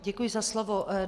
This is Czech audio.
Děkuji za slovo.